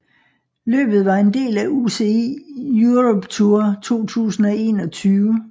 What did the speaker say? Løbet var en del af UCI Europe Tour 2021